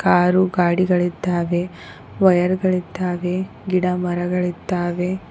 ಆರು ಗಾಡಿಗಳಿದ್ದಾವೆ ವೈಯರ್ ಗಳಿದ್ದಾವೆ ಗಿಡ ಮರಗಳಿದ್ದಾವೆ.